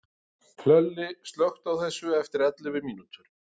Hlölli, slökktu á þessu eftir ellefu mínútur.